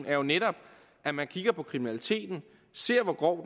er jo netop at man kigger på kriminaliteten ser på hvor